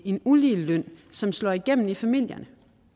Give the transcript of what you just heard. en ulige løn som slår igennem i familierne